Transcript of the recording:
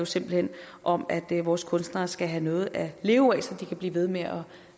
simpelt hen om at vores kunstnere skal have noget at leve af så de kan blive ved med at